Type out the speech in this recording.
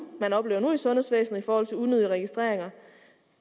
man oplever nu i sundhedsvæsenet i forhold til unødige registreringer